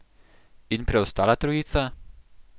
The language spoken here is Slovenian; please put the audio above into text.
In preostala trojica?